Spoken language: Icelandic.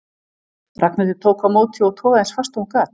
Ragnhildur tók á móti og togaði eins fast og hún gat.